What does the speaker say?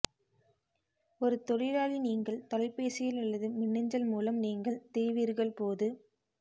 ஒரு தொழிலாளி நீங்கள் தொலைபேசியில் அல்லது மின்னஞ்சல் மூலம் நீங்கள் தீவீர்கள் போது